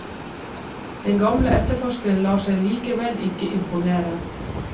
Den gamle etterforskeren lar seg likevel ikke imponere.